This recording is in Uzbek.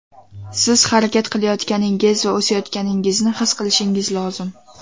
Siz harakat qilayotganingiz va o‘sayotganingizni his qilishingiz lozim.